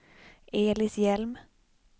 Elis Hjelm